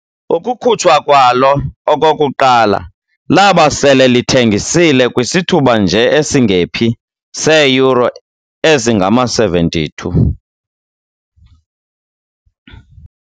Ukukhutshwa kwalo okokuqala laba sele lithengisile kwisithuba nje esingephi seeyure ezingama 72